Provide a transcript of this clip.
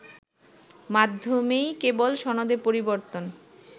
মাধ্যমেই কেবল সনদে পরিবর্তন